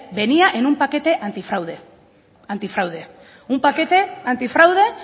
venía en un paquete antifraude antifraude un paquete antifraude